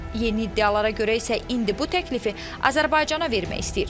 Yeni iddialara görə isə indi bu təklifi Azərbaycana vermək istəyir.